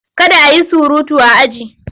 Kada a yi surutu a aji!